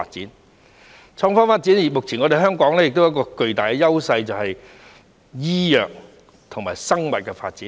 在創科發展方面，目前香港亦擁有巨大的優勢，就是醫藥和生物的發展。